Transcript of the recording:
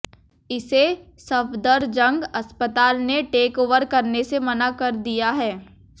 इसे सफदरजंग अस्पताल ने टेकओवर करने से मना कर दिया है